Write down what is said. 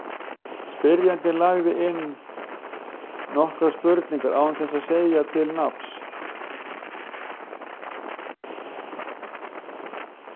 Spyrjandi lagði inn nokkrar spurningar án þess að segja fullt nafn.